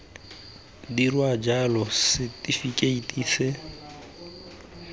dirwa jalo setifikeiti se se